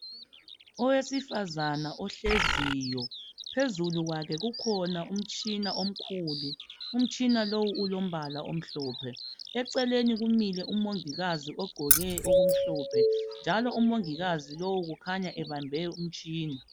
Owesifazana ohleziyo. Phezulu kwakhe kukhona umtshina omkhulu. Umtshina lowu ulombala omhlophe, eceleni kumile umongikazi ogqoke okumhlophe njalo umongikazi lowu ukhanya ebambe umtshina.